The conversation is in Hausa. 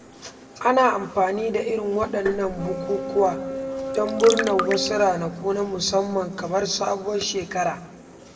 Ana amfani da irin waɗannan bukukuwa don murnar wasu ranaku na musamman kamar sabuwar shekara.